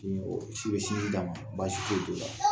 su fɛ sinji d'a ma, baasi foyi t'o la, .